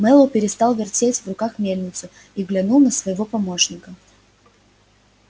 мэллоу перестал вертеть в руках мельницу и глянул на своего помощника